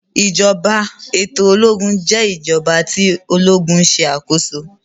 ìjọba eto ológun jé ìjọba tí ológun ṣe akoso